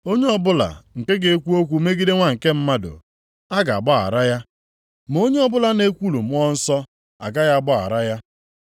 Onye ọbụla nke ga-ekwu okwu megide Nwa nke Mmadụ, a ga-agbaghara ya, ma onye ọbụla na-ekwulu Mmụọ Nsọ, agaghị agbaghara ya.